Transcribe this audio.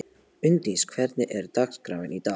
Unndís, hvernig er dagskráin í dag?